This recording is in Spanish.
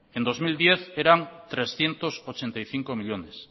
en dos mil diez eran trescientos ochenta y cinco millónes